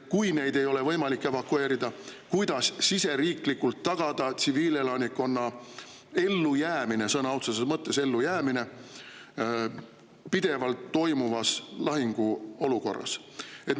Kui neid ei ole võimalik evakueerida, kuidas siis siseriiklikult tagada tsiviilelanikkonna ellujäämine, sõna otseses mõttes ellujäämine pidevas lahinguolukorras?